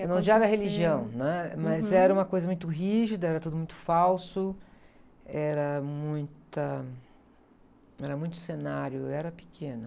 Eu não odiava a religião, né? Mas era uma coisa muito rígida, era tudo muito falso, era muita, era muito cenário, eu era pequena.